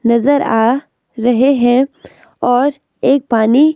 नजर आ रहे है और एक पानी--